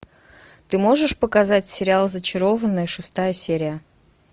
ты можешь показать сериал зачарованные шестая серия